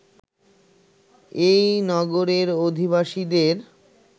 এই নগরের অধিবাসীদের